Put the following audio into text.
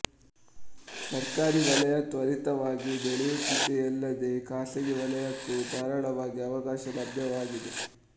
ಸರ್ಕಾರಿ ವಲಯ ತ್ವರಿತವಾಗಿ ಬೆಳೆಯುತ್ತಿದೆಯಲ್ಲದೆ ಖಾಸಗಿ ವಲಯಕ್ಕೂ ಧಾರಾಳವಾಗಿ ಅವಕಾಶ ಲಭ್ಯವಾಗಿದೆ